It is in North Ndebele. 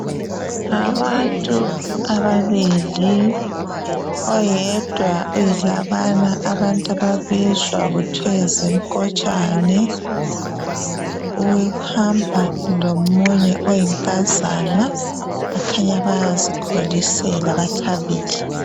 Abantu amabili, oyedwa uyilabana abantu ababizwa kuthwe zinkotshane uhamba lomunye oyinkazana bakhanya bayazikholisela bathabile.